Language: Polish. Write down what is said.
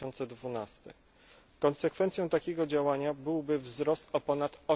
2012. Konsekwencją takiego działania byłby wzrost o ponad